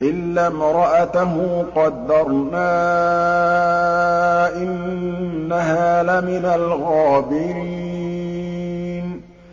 إِلَّا امْرَأَتَهُ قَدَّرْنَا ۙ إِنَّهَا لَمِنَ الْغَابِرِينَ